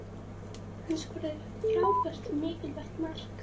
Hann skoraði frábært og mikilvægt mark